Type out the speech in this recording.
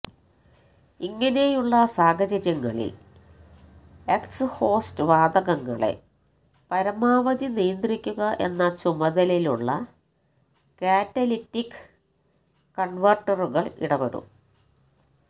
ഇങ്ങനെയുള്ള സാഹചര്യങ്ങളില് എക്സ്ഹോസ്റ്റ് വാതകങ്ങളെ പരമാവധി നിയന്ത്രിക്കുക എന്ന ചുമതലയുള്ള കാറ്റലിറ്റിക് കണ്വേര്ട്ടറുകള് ഇടപെടും